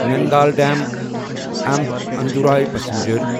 Nangal dam A M B Andaura passenger